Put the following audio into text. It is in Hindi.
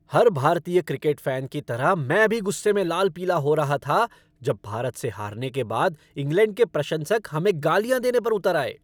हर भारतीय क्रिकेट फ़ैन की तरह मैं भी गुस्से में लाल पीला हो रहा था जब भारत से हारने के बाद इंग्लैंड के प्रशंसक हमें गालियाँ देने पर उतर आए।